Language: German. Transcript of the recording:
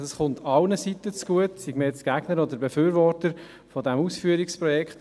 Ich denke, das kommt allen Seiten zugute, sei man jetzt Gegner oder Befürworter des Ausführungsprojekts.